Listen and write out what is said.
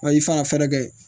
Wa i fana kɛ